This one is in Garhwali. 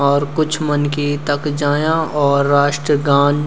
और कुछ मनखी तख जायां और राष्ट्रगान --